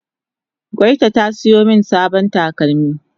gwayta ta siyo min sabon takalmi